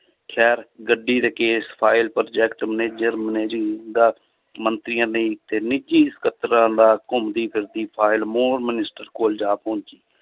ਖ਼ੈਰ ਗੱਡੀ ਤੇ ਕੇਸ ਫਾਇਲ project manager ਮੰਤਰੀਆਂ ਦੇ ਤੇ ਨਿੱਜੀ ਸਕੱਤਰਾਂ ਦਾ ਘੁੰਮਦੀ ਫਿਰਦੀ ਫਾਇਲ minister ਕੋਲ ਜਾ ਪਹੁੰਚੀ